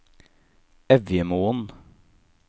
Evjemoen